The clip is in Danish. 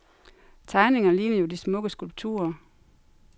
Tegningerne ligner jo de smukke skulpturer.